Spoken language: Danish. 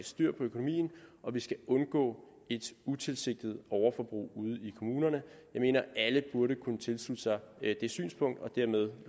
styr på økonomien og at vi skal undgå et utilsigtet overforbrug ude i kommunerne jeg mener alle burde kunne tilslutte sig det synspunkt og dermed